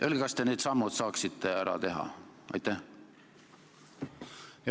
Öelge, kas te need sammud saaksite ära teha?